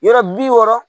Yɔrɔ bi wɔɔrɔ